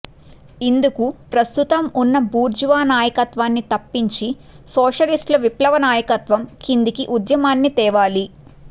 ఇందుకు ప్రస్తుతం ఉన్న బూర్జు వా నాయకత్వాన్ని తప్పించి సోషలిస్టు విప్లవ నాయకత్వం కిందికి ఉద్యమాన్ని తేవాలి